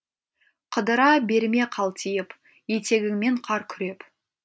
қыдыра берме қалтиып етегіңмен қар күреп